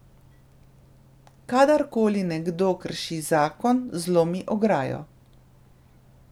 Kadarkoli nekdo krši zakon, zlomi ograjo.